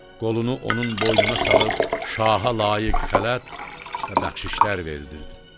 Qolunu onun boynuna salıb şaha layiq xələt və bəxşişler verdirdi.